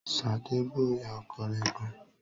Sadé bú ìyá ọkọ rẹ gan